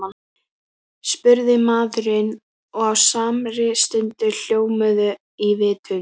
spurði maðurinn og á samri stundu hljómuðu í vitund